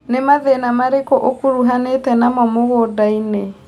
Nĩ mathĩna marĩkũ ũkuruhanĩte namo mũgũndainĩ.